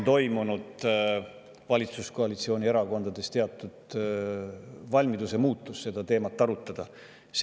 Valitsuskoalitsiooni erakondade valmiduses seda teemat arutada on toimunud teatav muutus.